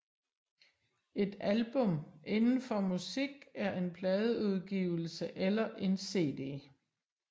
Et album inden for musik er en pladeudgivelse eller en cd